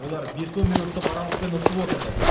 олар бес он минуттық аралықпен ұшып отырды